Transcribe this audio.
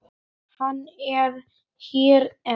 Hann er hér enn.